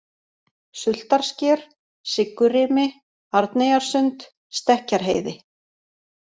Sultarsker, Siggurimi, Arneyjarsund, Stekkjarheiði